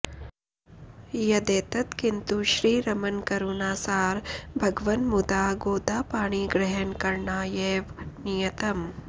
यदेतत् किन्तु श्रीरमण करुणासार भगवन् मुदा गोदापाणिग्रहणकरणायैव नियतम्